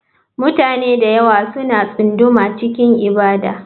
Mutane da yawa suna tsunduma cikin ibada.